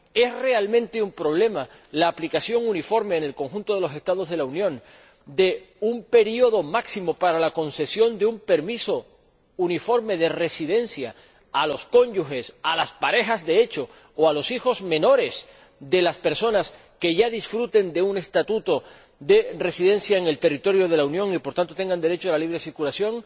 ¿Es realmente un problema la aplicación uniforme en el conjunto de los Estados de la Unión de un periodo máximo para la concesión de un permiso uniforme de residencia a los cónyuges, a las parejas de hecho o a los hijos menores de las personas que ya disfruten de un permiso de residencia en el territorio de la Unión y, por tanto, tengan derecho a la libre circulación?